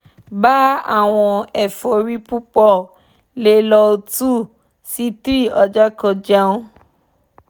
gba awọn efori pupọ le lọ two si three ọjọ ko jẹun